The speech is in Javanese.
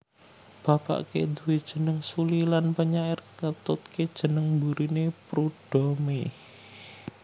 Bapake duwé jeneng Sully lan penyair ngetutke jeneng mburine Prudhomme